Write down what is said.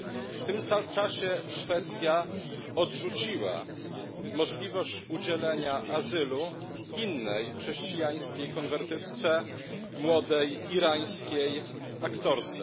W tym czasie Szwecja odrzuciła możliwość udzielania azylu innej chrześcijańskiej konwertytce, młodej irańskiej aktorce.